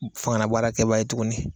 Fangala baara kɛbaa ye tuguni